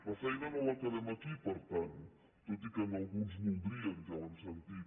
la feina no l’acabem aquí per tant tot i que alguns voldrien ja ho hem sentit